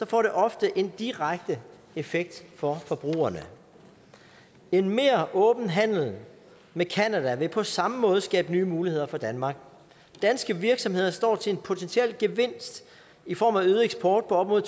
får det ofte en direkte effekt for forbrugerne en mere åben handel med canada vil på samme måde skabe nye muligheder for danmark danske virksomheder står til en potentiel gevinst i form af øget eksport på op mod